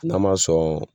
N'a ma sɔn